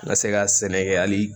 N ka se ka sɛnɛ kɛ hali